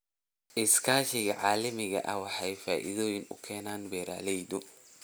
Iskaashiga caalamiga ah wuxuu faa'iido u keenaa beeralayda.